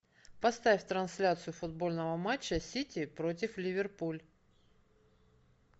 поставь трансляцию футбольного матча сити против ливерпуль